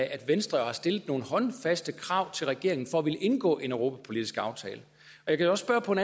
at venstre har stillet nogle håndfaste krav til regeringen for at ville indgå en europapolitisk aftale jeg kan også spørge på en